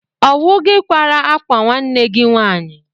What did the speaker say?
Ọ wụ kwara akwa nwanne gị nwaanyị?